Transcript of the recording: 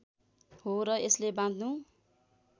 हो र यसले बाँध्नु